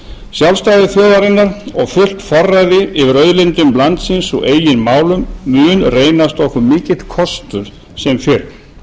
sjálfstæði þjóðarinnar og fullt forræði yfir auðlindum landsins og eigin málum mun reynast okkur mikill kostur sem fyrr við